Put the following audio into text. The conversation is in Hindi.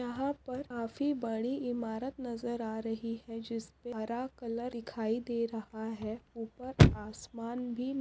यहाँ पर काफी बड़ी इमारत नजर आ रही है। जिसपे हरा कलर दिखाई दे रहा है। ऊपर आसमान भी --